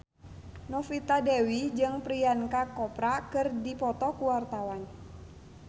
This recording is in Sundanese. Novita Dewi jeung Priyanka Chopra keur dipoto ku wartawan